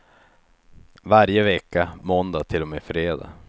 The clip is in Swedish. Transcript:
Varje vecka måndag till och med fredag.